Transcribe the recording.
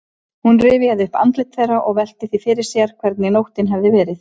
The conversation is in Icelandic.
Hún rifjaði upp andlit þeirra og velti því fyrir sér hvernig nóttin hefði verið.